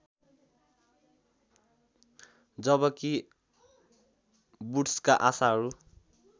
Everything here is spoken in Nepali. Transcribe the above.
जबकि वुड्सका आशाहरू